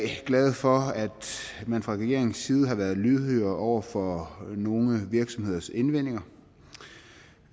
glade for at man fra regeringens side har været lydhøre over for nogle virksomheders indvendinger